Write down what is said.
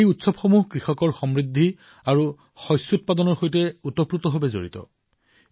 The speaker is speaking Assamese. এই উৎসৱ কৃষকসকলৰ সমৃদ্ধি আৰু ফচলৰ সৈতে নিকটভাৱে জড়িত